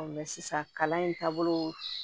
sisan kalan in taabolo